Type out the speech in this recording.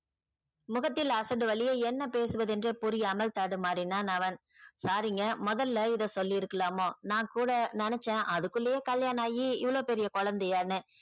முகத்தில் அசடு வழிய என்ன பேசுவதென்றே புரியாமல் தடுமாறினான் அவன் sorry ங்க முதல்ல இத சொல்லியிருக்கலாமா நான் கூட நினைச்சேன் அதுக்குள்ளயே கல்யாணமாயி இவளோ பெரிய கொலந்தையானு